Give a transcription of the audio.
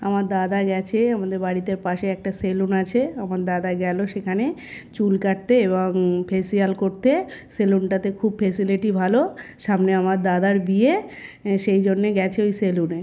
আমার দাদা গেছে আমাদের বাড়িটার পাশে একটা সেলুন আছে আমার দাদা গেল সেখানে চুল কাটতে এবং ফেসিয়াল করতে-এ সেলুন তাতে খুব ফ্যাসিলিটি ভালো-ও সামনে আমার দাদার বিয়ে সেই জন্য গেছে ওই সেলুন -এ।